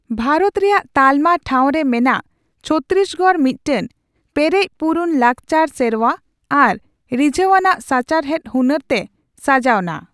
ᱵᱷᱟᱨᱚᱛ ᱨᱮᱭᱟᱜ ᱛᱟᱞᱢᱟ ᱴᱷᱟᱣ ᱨᱮ ᱢᱮᱱᱟᱜ ᱪᱷᱚᱛᱛᱤᱥᱜᱚᱲ ᱢᱤᱫᱴᱮᱱ ᱯᱮᱨᱮᱪᱼᱯᱩᱨᱩᱱ ᱞᱟᱠᱪᱟᱨ ᱥᱮᱨᱣᱟ ᱟᱨ ᱨᱤᱡᱷᱟᱹᱣᱟᱱᱟᱜ ᱥᱟᱪᱟᱨᱦᱮᱫ ᱦᱩᱱᱟᱹᱨ ᱛᱮ ᱥᱟᱡᱟᱣᱱᱟ ᱾